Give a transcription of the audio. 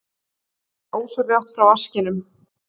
Hörfaði ósjálfrátt frá vaskinum.